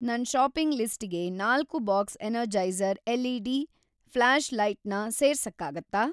ನನ್‌ ಷಾಪಿಂಗ್‌ ಲಿಸ್ಟಿಗೆ ನಾಲ್ಕು ಬಾಕ್ಸ್ ಎನರ್ಜೈಸರ್ ಎಲ್‌.ಇ.ಡಿ. ಫ಼್ಲಾಷ್‌ಲೈಟ್ ನ ಸೇರ್ಸಕ್ಕಾಗತ್ತಾ?